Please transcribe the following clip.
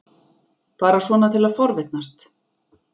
Bara svona til að forvitnast.